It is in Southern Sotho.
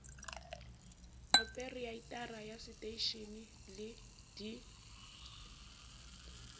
opereitara ya seteishene le d